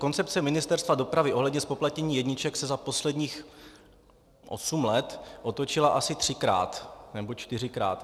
Koncepce Ministerstva dopravy ohledně zpoplatnění jedniček se za posledních osm let otočila asi třikrát nebo čtyřikrát.